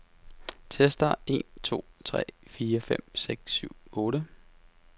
Tester en to tre fire fem seks syv otte.